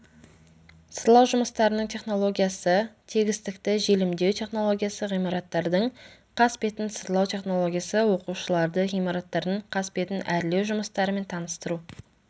сырлау жұмыстарының технологиясы тегістікті желімдеу технологиясы ғимараттардың қасбетін сырлау технологиясы оқушыларды ғимараттардың қасбетін әрлеу жұмыстарымен таныстыру